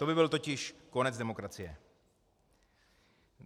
To by byl totiž konec demokracie.